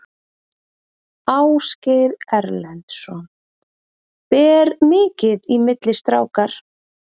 Ásgeir Erlendsson: Ber mikið í milli strákar?